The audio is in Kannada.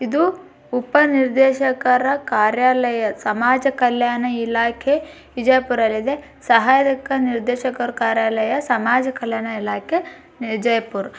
ಇದು ಉಪ ನಿರ್ದೇಶಕರ ಕಾರ್ಯಾಲಯ ಸಮಾಜ ಕಲ್ಯಾಣ ಇಲಾಖೆ ಕಲ್ಯಾಣ ಇಲಾಖೆ ಬಿಜಾಪುರದಲ್ಲಿದೆ ಸಹಾಯ ನಿರ್ದೇಶಕ ಸಮಾಜ ಕಲ್ಯಾಣ ಇಲಾಖೆ ವಿಜಯಪುರ.